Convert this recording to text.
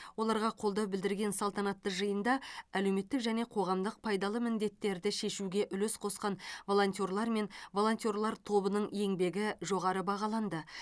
оларға қолдау білдірген салтанатты жиында әлеуметтік және қоғамдық пайдалы міндеттерді шешуге үлес қосқан волонтерлар мен волонтерлар тобының еңбегі жоғары бағаланды